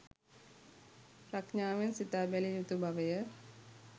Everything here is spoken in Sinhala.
ප්‍රඥාවෙන් සිතා බැලිය යුතු බවය